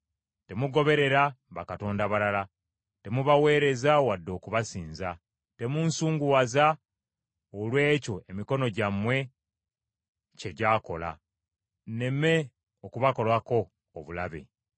Temugoberera bakatonda balala, temubaweereza wadde okubasinza; temunsunguwaza olw’ekyo emikono gyammwe kye gyakola, nneme okubakolako obulabe.”